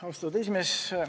Austatud esimees!